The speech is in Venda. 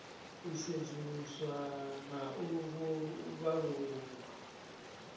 u sedzuluswa na u vhalululwa